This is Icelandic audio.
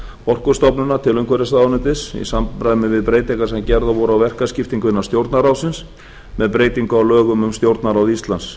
orkustofnunar til umhverfisráðuneytis í samræmi við breytingar sem gerðar voru á verkaskiptingu innan stjórnarráðsins með breytingu á lögum um stjórnarráð íslands